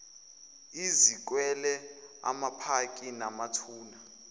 izikwele amapaki namathuna